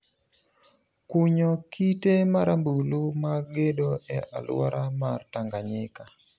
kunyo kite marambulu mag gedo e aluora mar Tanganyika.